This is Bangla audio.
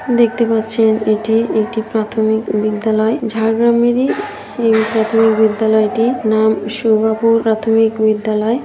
দেখতে পাচ্ছেন এটি একটি প্রাথমিক বিদ্যালয়। ঝাড়গ্রামেরই এই প্রাথমিক বিদ্যালয়টি নাম সুগাপুর প্রাথমিক বিদ্যালয়।